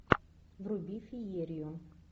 вруби феерию